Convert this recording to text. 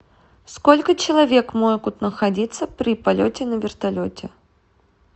сколько человек могут находиться при полете на вертолете